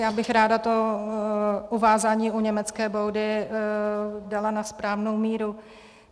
Já bych ráda to uvázání u německé boudy dala na správnou míru.